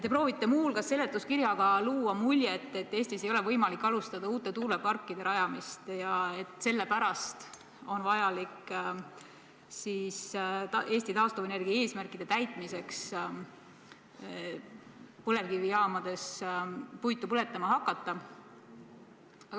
Te proovite muu hulgas seletuskirjaga luua muljet, et Eestis ei ole võimalik alustada uute tuuleparkide rajamist ja sellepärast on vaja Eesti taastuvenergia eesmärkide täitmiseks põlevkivijaamades puitu põletama hakata.